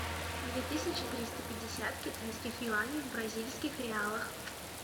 две тысячи триста пятьдесят китайских юаней в бразильских реалах